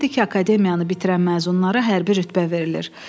Bilirdi ki, akademiyanı bitirən məzunlara hərbi rütbə verilir.